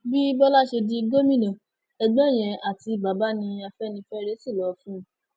bí bọlá ṣe di gómìnà ẹgbọn yẹn àti bàbá ní afẹnifẹre ni wọn sì lọ fún un